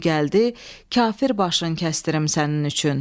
Günü gəldi, kafir başını kəsdirim sənin üçün.